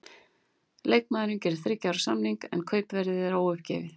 Leikmaðurinn gerir þriggja ára samning, en kaupverðið er óuppgefið.